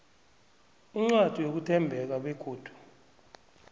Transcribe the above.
incwadi yokuthembeka begodu